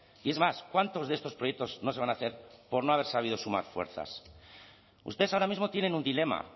y es más cuántos de estos proyectos no se van a hacer por no haber sabido sumar fuerzas ustedes ahora mismo tienen un dilema